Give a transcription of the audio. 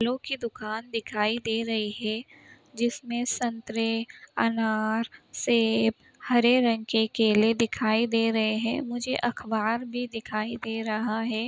फलों की दुकान दिखाई दे रही है जिसमें संतरे अनार सेब हरे रंग के केले दिखाई दे रहे हैं। मुझे अख़बार भी दिखाई दे रहा है।